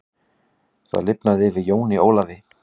Það lifnaði yfir Jóni Ólafi.